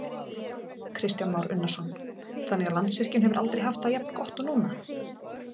Kristján Már Unnarsson: Þannig að Landsvirkjun hefur aldrei haft það jafn gott og núna?